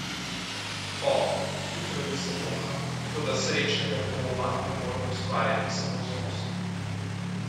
O, hitro jih zavoham, toda srečnega doma ne morem ustvarjati samo z nosom.